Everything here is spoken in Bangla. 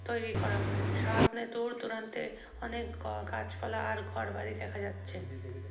তৈরী করা। সামনে দূর দূরান্তে অনেক গ গাছ পালা ও ঘর বাড়ি দেখা যাচ্ছে।